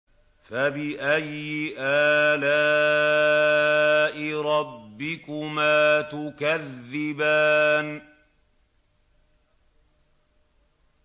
فَبِأَيِّ آلَاءِ رَبِّكُمَا تُكَذِّبَانِ